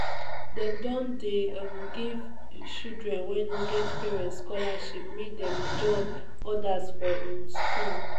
dem don dey um give children wey no get parents scholarship make dem join others for um skool.